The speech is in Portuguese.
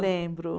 Lembro.